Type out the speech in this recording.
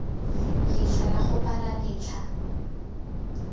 letlha la go bula letlha